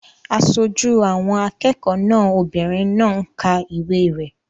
Aṣojú àwọn akẹ́kọ̀ọ́ náà obìnrin náà ń ka ìwé rẹ̀